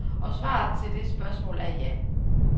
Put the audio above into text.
Og svaret til det spørgsmål er ja.